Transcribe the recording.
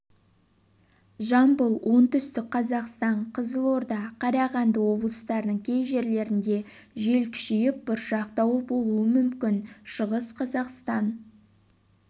жамбыл оңтүстік қазақстан қызылорда қарағанды облыстарының кей жерлерінде жел күшейіп бұршақ дауыл болуы мүмкін шығыс қазақстан